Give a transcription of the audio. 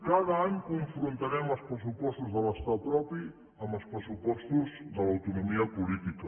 cada any confrontarem els pressupostos de l’estat propi amb els pressupostos de l’autonomia política